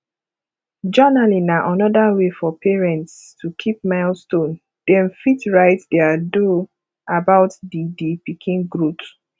journalling na anoda wey for parents to keep milestone dem fit write their though about di di pikin growth